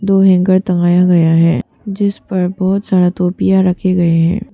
और हैंगर टंगाया गया है जिस पर बहोत सारा टोपिया रखे गए हैं।